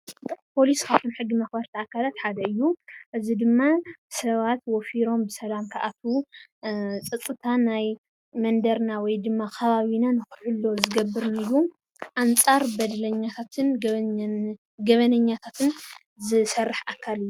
ፖሊስ ካፍቶም ሕጊ መክበርቲ ኣካል ሓደ እዩ ፤እዝይ ድማ ሰባት ወፊሮም ብሰላም ክኣትው ፀፅታን ናይ መንደርና ወይ ድማ ኸባቢናን ንክሕሉ ዝገብር እዩ ኣንፃር በደለኛታትን ገበኛታትን ዝስርሕ ኣካል እዩ።